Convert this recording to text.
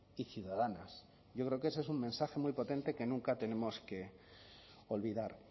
y ciudadanas yo creo que ese es un mensaje muy potente que nunca tenemos que olvidar